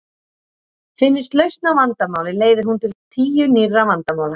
Finnist lausn á vandamáli leiðir hún til tíu nýrra vandamála.